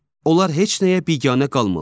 Onlar heç nəyə biganə qalmırlar.